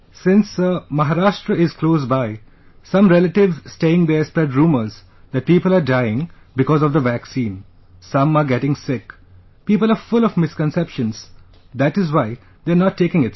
Since Sir, Maharashtra is close by, some relatives staying there spread rumours that people are dying because of the vaccine...some are getting sick...people are full of misconceptions, that is why they are not taking it Sir